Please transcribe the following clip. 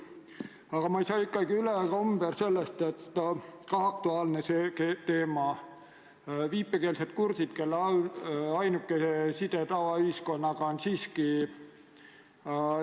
Aga ma ei saa üle ega ümber ka aktuaalsest teemast, milleks on viipekeelsed kurdid, kellele ainukene side tavaühiskonnaga on siiski tõlgid.